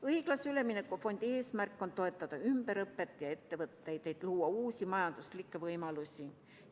Õiglase ülemineku fondi eesmärk on toetada ümberõpet ja ettevõtteid, et luua uusi majanduslikke võimalusi.